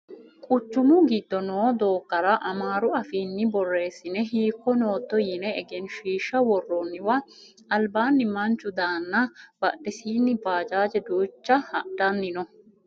Quchumu giddo noo doogora amaaru afiinni borreessine hiikko nootto yine egenshiishsha worroonniwa albaanni manchu daanna badhesiinni bajaaje duucha hadhanni no